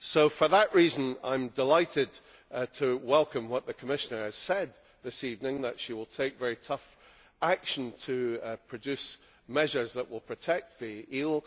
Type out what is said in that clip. For that reason I am delighted to welcome what the Commissioner has said this evening, that she will take very tough action to produce measures that will protect the eel.